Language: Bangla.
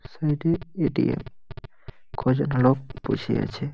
সাইডে -এ এ.টি.এম. । কজন লোক বসে আছে।